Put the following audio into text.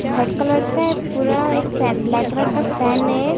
White colour का है पूरा एक फैन ब्लैक कलर का फैन है।